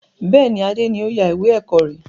Bẹ́ẹ̀ni, Adé ni o ya ìwé ẹ̀kọ́ rẹ.